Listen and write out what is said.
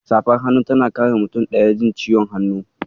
Safar hannu tana kare mutum ɗaya jin ciwon hannu.